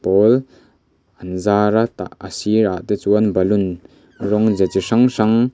pawl an zar a tah a sirah te chuan balloon rawng ze chi hrang hrang--